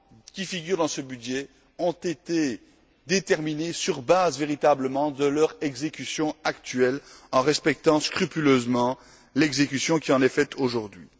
qui figurent dans ce budget ont été déterminés sur la base de leur exécution actuelle, en respectant scrupuleusement l'exécution qui en est faite aujourd'hui.